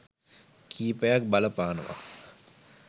කිහිපයක් බලපානවා.